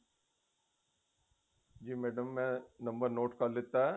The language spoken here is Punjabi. ਜੀ madam ਮੈਂ number note ਕਰ ਲੀਤਾ